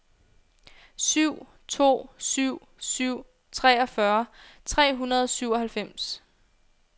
syv to syv syv treogfyrre tre hundrede og syvoghalvfems